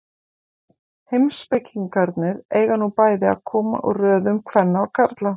Heimspekingarnir eiga nú bæði að koma úr röðum kvenna og karla.